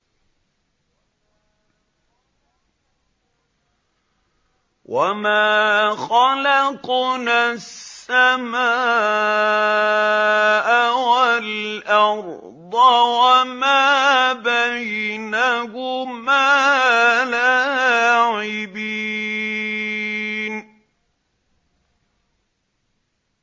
وَمَا خَلَقْنَا السَّمَاءَ وَالْأَرْضَ وَمَا بَيْنَهُمَا لَاعِبِينَ